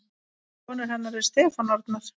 Sonur hennar er Stefán Arnar.